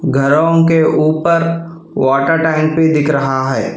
घरों के ऊपर वॉटर टैंक भी दिख रहा है।